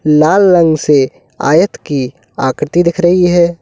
लाल रंग से आयात की आकृति दिख रही है।